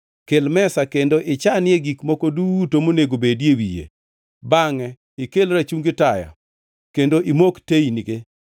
Kel mesa kendo ichanie gik moko duto monego bedi e wiye. Bangʼe ikel rachungi taya kendo imok teynige.